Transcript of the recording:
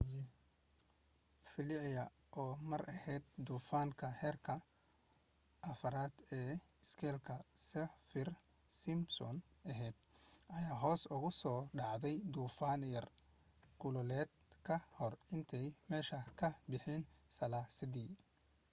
felicia oo mar ahayd duufaanka heerka 4 ee iskeelka saffir-simpson ahayd ayaa hoos ugu soo dhacday duufaan yaraw kulaaleed ka hor intaanay meesha ka bixin salaasadii